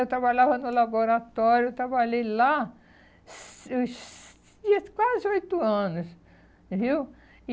eu trabalhava no laboratório, eu trabalhei lá quase oito anos, viu?